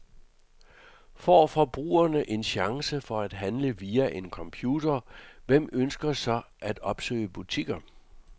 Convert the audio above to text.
Får forbrugerne en chance for at handle via en computer, hvem ønsker så at opsøge butikker?